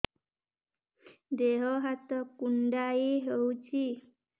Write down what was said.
ଦେହ ହାତ କୁଣ୍ଡାଇ ହଉଛି